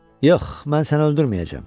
Yox, mən səni öldürməyəcəm.